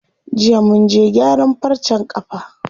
Jiya munje gyaran farcen ƙafa.